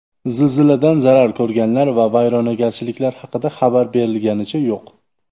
Zilziladan zarar ko‘rganlar va vayronagarchiliklar haqida xabar berilganicha yo‘q.